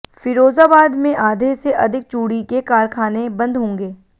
फीरोजाबाद में आधे से अधिक चूडी के कारखाने बन्द होंगे